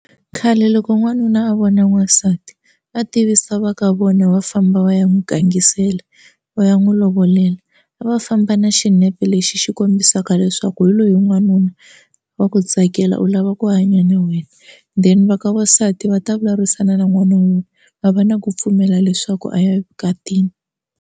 Khale loko n'wanuna a vona n'wansati va tivisa va ka vona va famba va ya n'wu gangisela va ya n'wu lovolela a va famba na xinepe lexi xi kombisaka leswaku swa ku hi loyi n'wanuna wa ku tsakela u lava ku hanya na wena then va ka vasati va ta vulavurisana na n'wana wun'we va va na ku pfumela leswaku a ya vukatini.